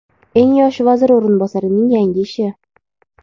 Eng yosh vazir o‘rinbosarining yangi ishi.